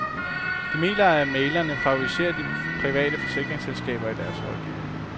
De mener, at mæglerne favoriserer de private forsikringsselskaber i deres rådgivning.